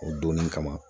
O donni kama